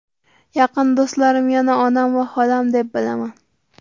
Yaqin do‘stlarim yana onam va xolam deb bilaman.